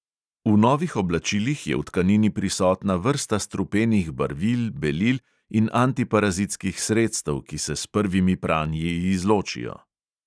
V novih oblačilih je v tkanini prisotna vrsta strupenih barvil, belil in antiparazitskih sredstev, ki se s prvimi pranji izločijo.